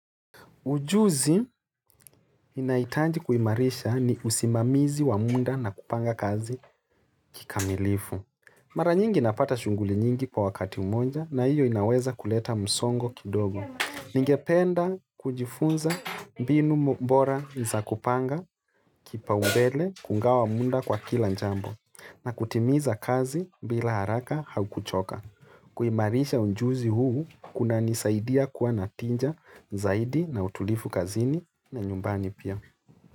Ujuzi inaitanji kuimarisha ni usimamizi wa muda na kupanga kazi kikamilifu. Mara nyingi napata shughuli nyingi kwa wakati monja na hiyo inaweza kuleta msongo kidogo. Ningependa kujifunza mbinu mbora za kupanga kipaumbele kungawa munda kwa kila njambo na kutimiza kazi bila haraka hau kuchoka. Kuimarisha unjuzi huu kunanisaidia kuwa na tinja zaidi na utulifu kazini na nyumbani pia.